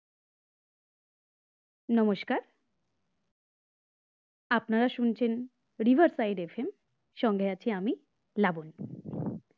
নমস্কার আপনারা শুনছেন river side FM সঙ্গে আমি আছি লাবনী